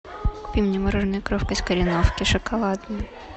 купи мне мороженое коровка из кореновки шоколадное